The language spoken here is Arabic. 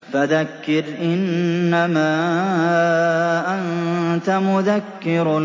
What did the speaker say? فَذَكِّرْ إِنَّمَا أَنتَ مُذَكِّرٌ